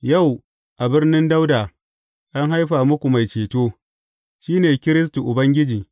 Yau a birnin Dawuda an haifa muku Mai Ceto; shi ne Kiristi Ubangiji.